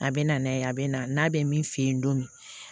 A bɛ na n'a ye a bɛ na n'a bɛ min fɛ yen don min